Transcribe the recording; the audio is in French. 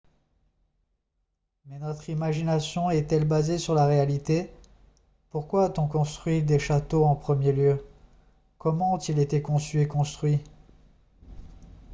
mais notre imagination est-elle basée sur la réalité pourquoi a-t-on construit des châteaux en premier lieu comment ont-ils été conçus et construits